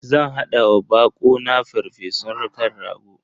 Zan hada wa bako na farfesun kan rago.